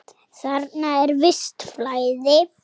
Þarna er visst flæði.